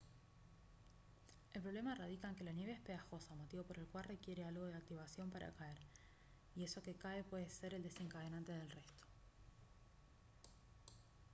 el problema radica en que la nieve es pegajosa motivo por el cual requiere algo de activación para caer y eso que cae puede ser el desencadenante del resto